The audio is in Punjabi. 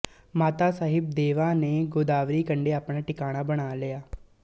ਮਾਤਾ ਸਾਹਿਬ ਦੇਵਾ ਨੇ ਗੋਦਾਵਰੀ ਕੰਢੇ ਆਪਣਾ ਟਿਕਾਣਾ ਬਣਾ ਲਿਆ